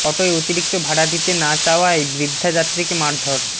অটোয় অতিরিক্ত ভাড়া দিতে না চাওয়ায় বৃদ্ধা যাত্রীকে মারধর